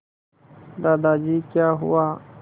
दादाजी क्या हुआ